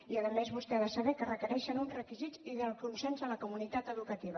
i a més vostè ha de saber que requereixen uns requisits i el consens de la comunitat educativa